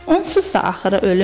Onsuz da axırı ölümdür.